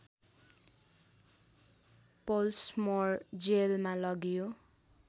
Pollsmoor जेलमा लगियो